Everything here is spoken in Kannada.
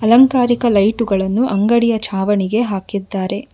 ಅಲಂಕಾರಿಕ ಲೈಟುಗಳನ್ನು ಅಂಗಡಿಯ ಚಾವಣಿಗೆ ಹಾಕಿದ್ದಾರೆ.